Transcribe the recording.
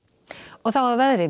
þá að veðri